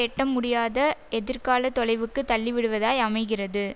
எட்ட முடியாத எதிர்காலத் தொலைவுக்கு தள்ளிவிடுவதாய் அமைகிறது